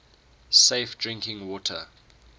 safe drinking water